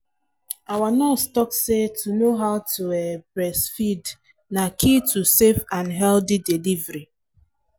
our nurse talk say to know how to um breastfeed na key to safe and healthy delivery